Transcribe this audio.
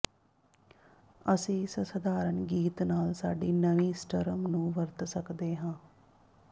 ਅਸੀਂ ਇਸ ਸਧਾਰਨ ਗੀਤ ਨਾਲ ਸਾਡੀ ਨਵੀਂ ਸਟ੍ਰਮ ਨੂੰ ਵਰਤ ਸਕਦੇ ਹਾਂ